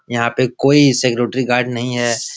यहां पे कोई सिक्योरिटी गार्ड नहीं है।